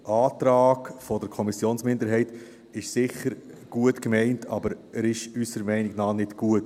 Der Antrag der Kommissionsminderheit ist sicher gut gemeint, aber unserer Meinung nach ist er nicht gut.